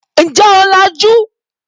Ǹjẹ́ o làjú?